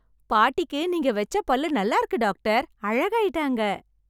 பாட்டிக்கு நீங்க வச்ச பல்லு நல்லா இருக்கு டாக்டர். அழகாயிட்டாங்க!